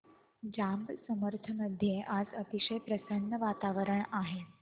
जांब समर्थ मध्ये आज अतिशय प्रसन्न वातावरण आहे